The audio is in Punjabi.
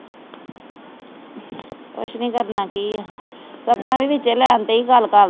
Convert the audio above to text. ਕੁਝ ਨਹੀਂ ਕਰਨਾ ਕੀ ਆ ਸਪਨਾ ਵੀ ਵਿਚੇ ਲੈਨ ਤੇ ਈ ਗੱਲ